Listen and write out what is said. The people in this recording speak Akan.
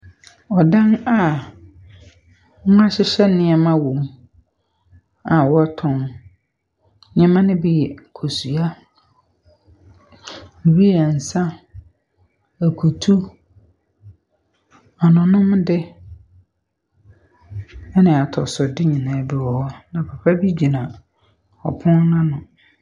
Ɔdan a wɔahyehyɛ nneɛma wɔ mu a wɔtɔn. Nneɛma ne bi yɛ kosua, bi yɛ nsa, akutu, anonomde ne atɔsode nyinaa bi wɔ hɔ. Na papa bi gyina ɔpon n’ano.